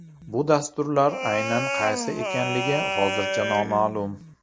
Bu dasturlar aynan qaysi ekanligi hozircha noma’lum.